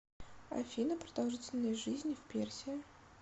афина продолжительность жизни в персия